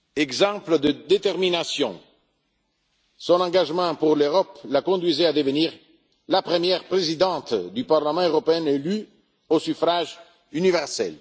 Exemple de détermination, son engagement pour l'Europe l'a conduite à devenir la première Présidente du Parlement européen élu au suffrage universel.